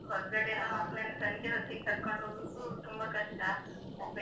ಹೊರ್ಗಡೆ ಎಲ್ಲ ಮಕ್ಳನ್ನ ಸಂಜೆ ಹೊತ್ತಿಗೆ ಕರ್ಕೊಂಡು ಹೋಗೂಕು ತುಂಬ ಕಷ್ಟ.